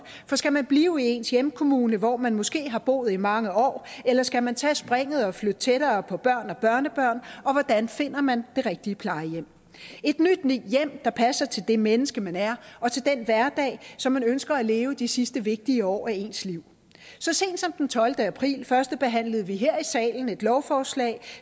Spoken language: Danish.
for skal man blive i ens hjemkommune hvor man måske har boet i mange år eller skal man tage springet og flytte tættere på børn og børnebørn og hvordan finder man det rigtige plejehjem et nyt hjem der passer til det menneske man er og til den hverdag som man ønsker at leve de sidste vigtige år af ens liv så sent som den tolvte april førstebehandlede vi her i salen et lovforslag